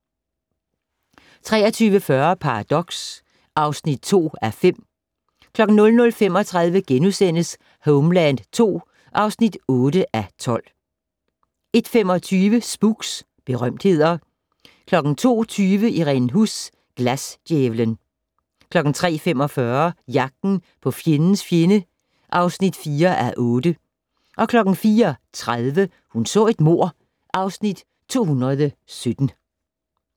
23:40: Paradox (2:5) 00:35: Homeland II (8:12)* 01:25: Spooks: Berømtheder 02:20: Irene Huss: Glasdjævlen 03:45: Jagten på fjendens fjende (4:8) 04:30: Hun så et mord (Afs. 217)